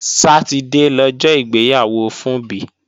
Sátidé lọjọ́ ìgbéyàwó Funbí